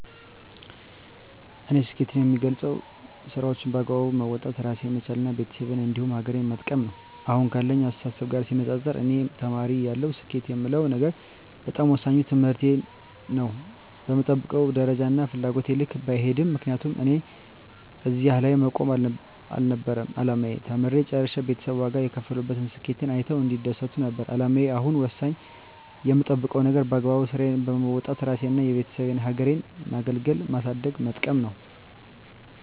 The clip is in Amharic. እኔ ስኬትን የምገልፀው ስራዎቸን በአግባቡ መወጣት እራሴን መቻል እና ቤተሰቤን እንዲሁም ሀገሬን መጥቀም ነው። አሁን ካለኝ አስተሳሰብ ጋር ሲነፃፀር እኔ ተማሪ እያለሁ ስኬት የምለው ነገር በጣም ወሳኙ ትምህርቴን ነው በምጠብቀው ደረጃና ፍላጎቴ ልክ ባይሄድም ምክንያቱም እኔ እዚህ ላይ መቆም አልነበረም አላማዬ ተምሬ ጨርሸ ቤተሰብ ዋጋ የከፈሉበትን ስኬቴን አይተው እንዲደሰቱ ነበር አላማዬ አሁን ወሳኙ የምጠብቀው ነገር በአግባቡ ስራዬን በወጣት እራሴንና የቤተሰቤን ሀገሬን ማገልገልና ማሳደግና መጥቀም ነው።